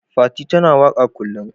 Fati ta na waka kullun.